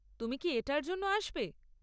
তুমি কি এটার জন্য আসবে?